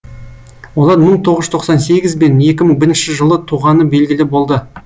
олар мың тоғыз жүз тоқсан сегіз бен екі мың бірінші жылы туғаны белгілі болды